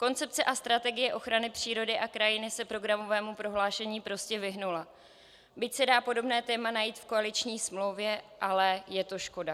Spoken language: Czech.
Koncepce a strategie ochrany přírody a krajiny se programovému prohlášení prostě vyhnula, byť se dá podobné téma najít v koaliční smlouvě, ale je to škoda.